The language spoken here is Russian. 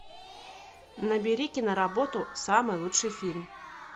набери киноработу самый лучший фильм